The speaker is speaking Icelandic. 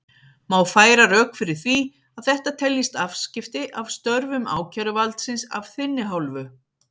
Má færa rök fyrir því að þetta teljist afskipti af störfum ákæruvaldsins af þinni hálfu?